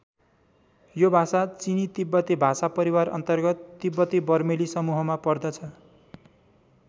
यो भाषा चिनी तिब्बती भाषा परिवार अन्तर्गत तिब्बती बर्मेली समूहमा पर्दछ।